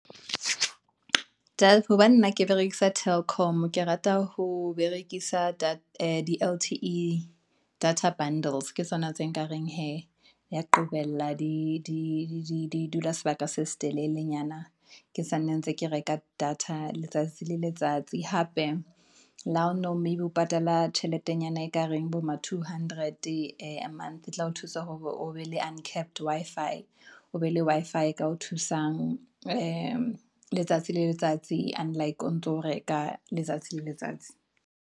hobane nna ke berekisa Telkom, ke rata ho berekisa di-lte data bundles ke tsona tse nkareng hee ya qobella di dula sebaka se se telelenyana. Ke sanna ntse ng ke reka data letsatsi le letsatsi. Hape le or maybe o patala tjheletenyana ekareng bo ma two hundred a month, e tla o thusa hore o be le uncapped Wi-Fi o be le Wi-Fi e ka o thusang le letsatsi le letsatsi unlike, o ntso reka letsatsi le letsatsi.